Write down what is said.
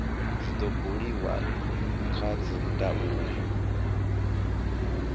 zwi do buliwa kha dzindaulo